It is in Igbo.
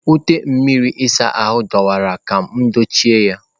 Ute mmiri ịsa ahụ adọwara ka m dochie ya.